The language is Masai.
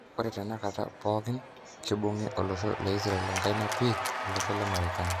Ore tenkata pooki kibungi olosho leIsrael enkaina pii olosho lemarekani